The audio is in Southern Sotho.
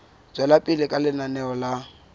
tswela pele ka lenaneo la